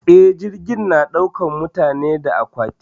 Eh, jirgi na daukar mutane da aƙwati.